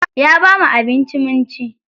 Ya bamu abinci mun ci.